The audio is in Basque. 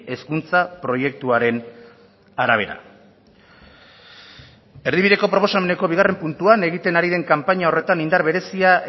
hezkuntza proiektuaren arabera erdibideko proposameneko bigarren puntuan egiten ari den kanpaina horretan indar berezia